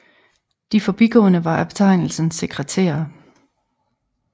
De forgående var af betegnelsen sekretærer